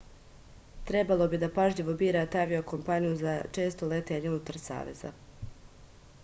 trebalo bi da pažljivo birate avio-kompaniju za često letenje unutar saveza